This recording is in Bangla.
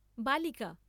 বালিকা।